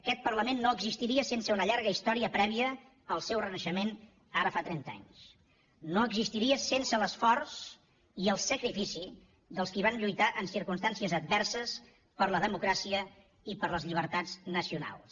aquest parlament no existiria sense una llarga història prèvia al seu renaixement ara fa trenta anys no existiria sense l’esforç i el sacrifici dels qui van lluitar en circumstàncies adverses per la democràcia i per les llibertats nacionals